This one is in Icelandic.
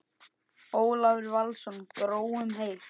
Ólafur Valsson: Grói um heilt?